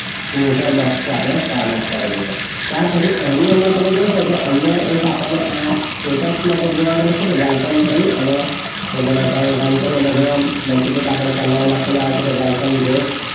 User box છે જે આપણે formet કરેલું છે. ત્યાર પછી એની અંદર તમે જોશો તો અહીંયા એક આપણને આ status માટે જોવા મળે છે. કે welcome કરી અને આપણે run કરીને multiple પેલા વોલા પેલા આવશે કે welcome guest